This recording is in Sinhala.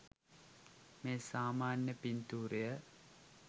මේ සාමාන්‍ය පිංතූරය